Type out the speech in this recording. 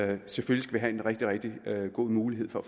vi selvfølgelig have en rigtig rigtig god mulighed for